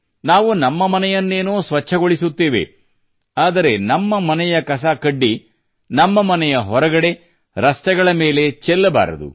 ನಾವು ನಮ್ಮ ಮನೆಯನ್ನೇನೋ ಸ್ವಚ್ಛಗೊಳಿಸುತ್ತೇವೆ ಆದರೆ ನಮ್ಮ ಮನೆಯ ಕಸಕಡ್ಡಿ ನಮ್ಮ ಮನೆಯ ಹೊರಗಡೆ ರಸ್ತೆಗಳ ಮೇಲೆ ಬಿಸಾಡಬಾರದು